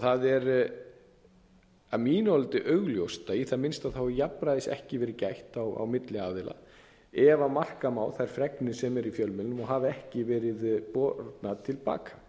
það er að mínu áliti augljóst að í það minnsta er jafnræðis ekki verið gætt á milli aðila ef marka má þær fregnir sem eru í fjölmiðlum og hafa ekki verið bornar til baka